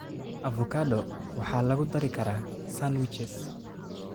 Avocado waxaa lagu dari karaa sandwiches.